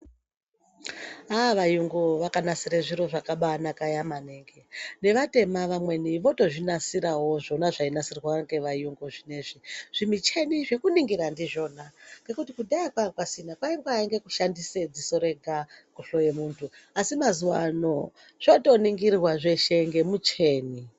Aa! vayungu vakanasire zviro zvakabanaka maningi nevatema vamweni votozvinasirawo zvona zvainasirwe ngevayungu zvinoizvi zvimicheni zvekuningira ndizvona ngekuti kudhaya kwanga kusina kwaingaba kushandise dziso rega kuhloye munhu asi mazuwa ano zvotoningirwa zveshe ngemucheni.